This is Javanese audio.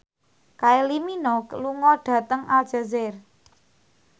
Kylie Minogue lunga dhateng Aljazair